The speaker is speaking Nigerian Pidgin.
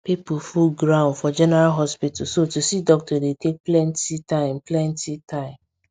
people full ground for general hospital so to see doctor dey take plenty time plenty time